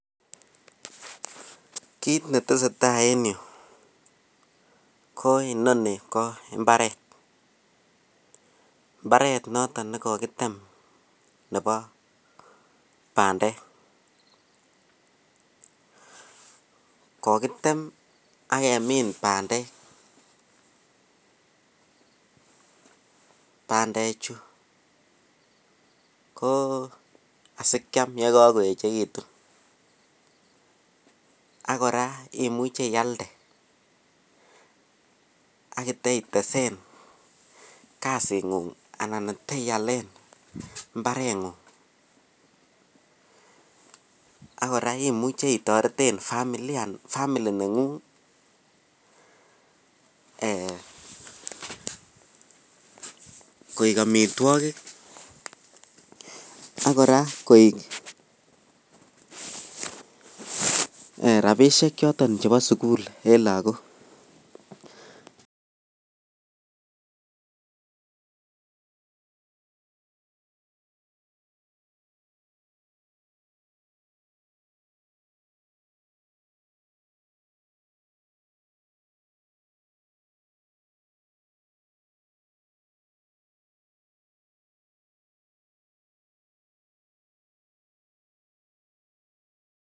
Kiit netesetaa en yuu ko inonii ko imbaret, mbaret noton nekokitem Nebo bandek, kokitem ak kemin bandek, bandechu ko asikiam yekokoechekitun ak kora imuche ialde ak itesen kasing'ung alan iteialen mbarengung ak kora imuche itoreten familia family nengung eeh koik amitwokik ak kora koik rabishek choton chebo sukul en lokok.